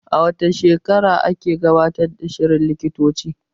A wace tasha ake gabatar da shirin likitoci?